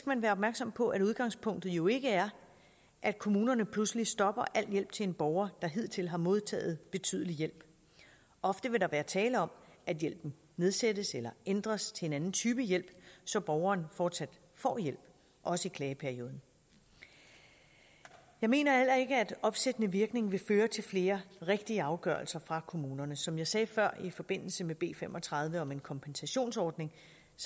man være opmærksom på at udgangspunktet jo ikke er at kommunerne pludselig stopper al hjælp til en borger der hidtil har modtaget betydelig hjælp ofte vil der være tale om at hjælpen nedsættes eller ændres til en anden type hjælp så borgeren fortsat får hjælp også i klageperioden jeg mener heller ikke at en opsættende virkning vil føre til flere rigtige afgørelser fra kommunerne som jeg sagde før i forbindelse med b fem og tredive om en kompensationsordning